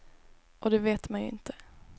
Och det vet man ju inte.